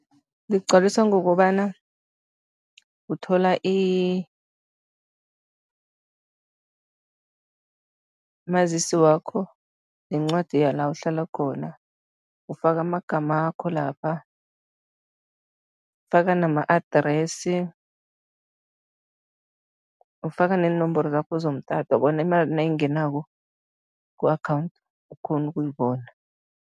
Ligcwaliswa ngokobana uthola mazisi wakho nencwadi yala uhlala khona, ufaka amagamakho lapha, ufaka nama-address, ufaka neenomboro zakho zomtato bona imali nayingenako ku-akhawundi, ukghone ukuyibona.